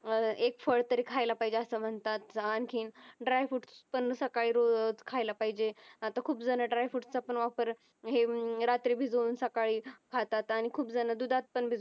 अह एक फळं तरी खायला पाहिजे असं म्हणतात आणखीन dry fruits पण सकाळी रोज खायला पाहिजे आता खूप जणं dry fruits चा पण वापर हे हम्म रात्री भिजवून सकाळी खातात आणि खूप जण दुधात पण भिजवून